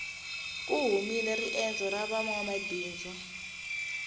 ku humile riendzo ra vanwamabindzu